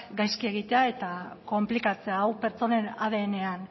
gaizki egitea eta konplikatzea hau pertsonen adnan